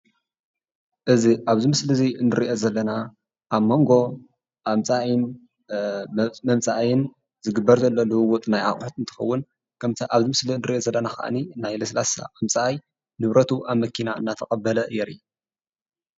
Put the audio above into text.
እዚ ኣብዚ ምስሊ እዚ ንሪኦ ዘለና ኣብ መንጎ መምፃኣይን ዝግበር ዘሎ ልውውጥ ናይ ኣቑሑ እንትኸውን ከምቲ ኣብ ምስሊ ንሪኦ ዘለና ከዓኒ ናይ ለስላሳ ኣምፃኣይ ንብረቱ ኣብ መኪና እናተቐበለ የርኢ፡፡